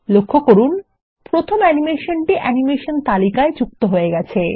লক্ষ্য করুন প্রথম অ্যানিমেশনটি অ্যানিমেশন তালিকায় যুক্ত হয়ে গেছে